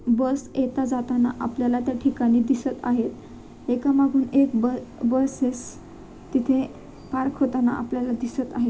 बस येताजाताना आपल्याला त्या ठिकाणी दिसत आहे एकामागून एक ब बसेस तिथे पार्क होताना आपल्याला दिसत आहेत.